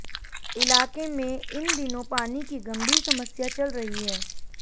इलाके में इन दिनों पानी की गंभीर समस्या चल रही है